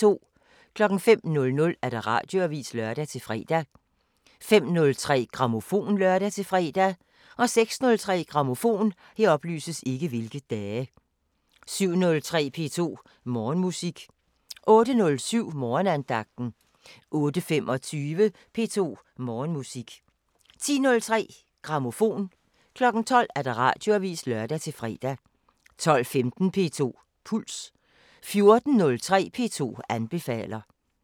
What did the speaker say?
05:00: Radioavisen (lør-fre) 05:03: Grammofon (lør-fre) 06:03: Grammofon 07:03: P2 Morgenmusik 08:07: Morgenandagten 08:25: P2 Morgenmusik 10:03: Grammofon 12:00: Radioavisen (lør-fre) 12:15: P2 Puls 14:03: P2 anbefaler